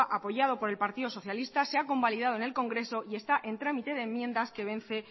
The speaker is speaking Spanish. apoyado por el partido socialista se ha convalidado en el congreso y está en trámite de enmiendas que vence